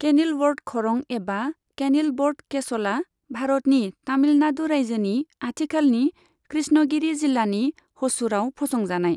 Kenilworth ख'रं एबा Kenilworth केस'लआ भारतनि तामिलनादु रायजोनि आथिखालनि कृष्णगिरि जिलानि ह'सुरआव फसंजानाय।